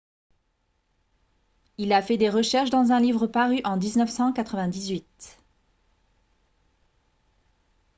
il a fait des recherches dans un livre paru en 1998